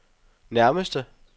nærmeste